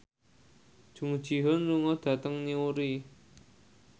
Jung Ji Hoon lunga dhateng Newry